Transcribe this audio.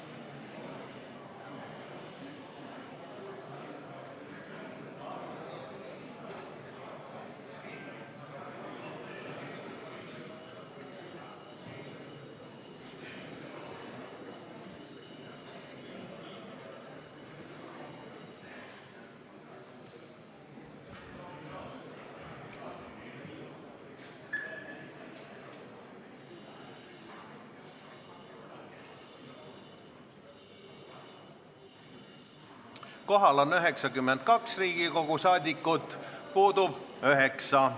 Kohaloleku kontroll Kohal on 92 Riigikogu liiget, puudub 9.